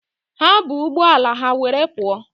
Ha bu ụgbọ agha were pụọ.